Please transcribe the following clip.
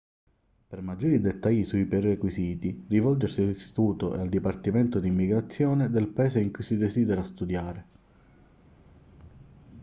per maggiori dettagli sui prerequisiti rivolgersi all'istituto e al dipartimento d'immigrazione del paese in cui si desidera studiare